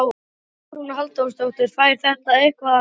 Hugrún Halldórsdóttir: Fær þetta eitthvað að standa?